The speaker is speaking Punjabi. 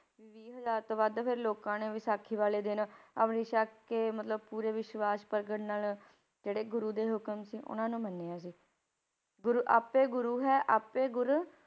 ਵੀਹ ਹਜ਼ਾਰ ਤੋਂ ਵੱਧ ਫਿਰ ਲੋਕਾਂ ਨੇ ਵਿਸਾਖੀ ਵਾਲੇ ਦਿਨ ਅੰਮ੍ਰਿਤ ਛਕ ਕੇ ਮਤਲਬ ਪੂਰੇ ਵਿਸਵਾਸ਼ ਪ੍ਰਗਟ ਨਾਲ ਜਿਹੜੇ ਗੁਰੂ ਦੇ ਹੁਕਮ ਸੀ ਉਹਨਾਂ ਨੂੰ ਮੰਨਿਆ ਸੀ, ਗੁਰੂ ਆਪੇ ਗੁਰੂ ਹੈ ਆਪੇ ਗੁਰ